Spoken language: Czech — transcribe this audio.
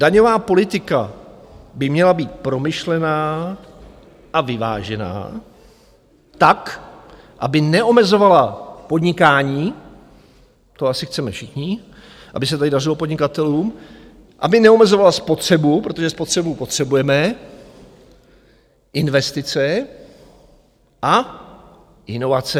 Daňová politika by měla být promyšlená a vyvážená tak, aby neomezovala podnikání, to asi chceme všichni, aby se tady dařilo podnikatelům, aby neomezovala spotřebu, protože spotřebu potřebujeme, investice a inovace.